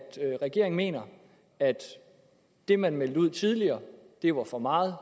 regeringen mener at det man meldte ud tidligere var for meget